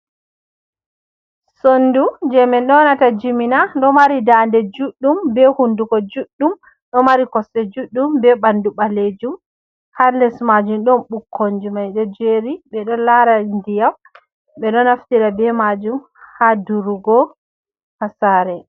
Sonndu jey min ƴoonata jimina, ɗo mari daande juuɗɗum, be hunnduko juuɗɗum, ɗo mari kosɗe juuɗeum, be ɓanndu ɓaleejum, her les maajum ɗon ɓukkonji maade jeeri ɓe ɗo laara ndiyam, ɓe ɗo naftira be maajum haa durugo haa saare.